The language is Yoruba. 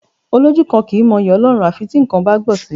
Olójú kan kì í mọ yí Ọlọ́run à fi tí nǹkan bá gbọn sì.